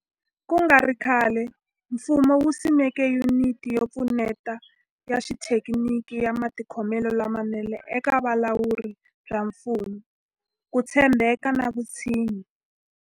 Ku nga ri khale, mfumo wu simeke Yuniti yo Pfuneta ya Xithekiniki ya Matikhomelo lamanene eka Vulawuri bya Mfumo, Ku tshembeka na Vutshinyi.